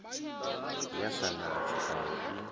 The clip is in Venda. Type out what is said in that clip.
ya sa na tshifhango i